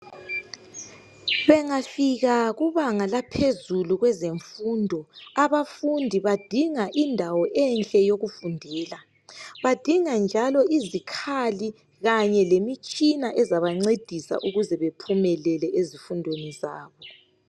Bengafika kubanga laphezulu kwezemfundo, abafundi badinga indawo enhle yokufundela, badinga njalo izikhali kanye lemitshina ezabancedisa ukuze bephumelele ezifundweni zabo.